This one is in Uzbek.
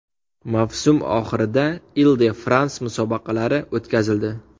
Mavsum oxirida Il-de-Frans musobaqalari o‘tkazildi.